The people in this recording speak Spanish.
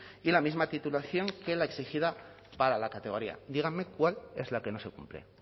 y la misma titulación que la exigida para la categoría díganme cuál es la que no se cumple